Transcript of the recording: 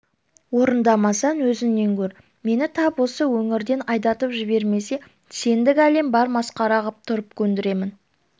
орындамасаң өзіңнен көр мені тап осы өңірден айдатып жібермесе сендік әлім бар масқара қып тұрып көндіремін